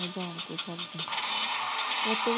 ਜਾਨ ਕੇ ਕਰਦੀ ਉਹ ਤੇ ਵੀ